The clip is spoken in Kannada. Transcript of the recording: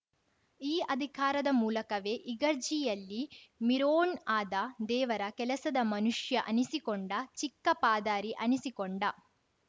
ಈ ಅಧಿಕಾರದ ಮೂಲಕವೇ ಇಗರ್ಜಿಯಲ್ಲಿ ಮಿರೋಣ್‌ ಆದ ದೇವರ ಕೆಲಸದ ಮನುಷ್ಯ ಅನಿಸಿ ಕೊಂಡ ಚಿಕ್ಕ ಪಾದಾರಿ ಅನಿಸಿ ಕೊಂಡ